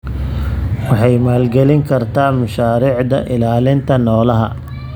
Waxay maalgelin kartaa mashaariicda ilaalinta noolaha.